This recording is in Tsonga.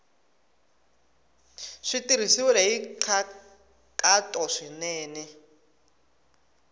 swi tirhisiwile hi nkhaqato swinene